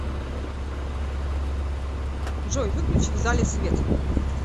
джой выключи в зале свет